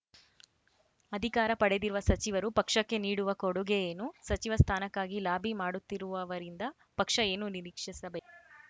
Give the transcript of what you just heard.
ಅಧಿಕಾರ ಪಡೆದಿರುವ ಸಚಿವರು ಪಕ್ಷಕ್ಕೆ ನೀಡುವ ಕೊಡುಗೆ ಏನು ಸಚಿವ ಸ್ಥಾನಕ್ಕಾಗಿ ಲಾಬಿ ಮಾಡುತ್ತಿರುವವರಿಂದ ಪಕ್ಷ ಏನು ನಿರೀಕ್ಷಿಸಬೇ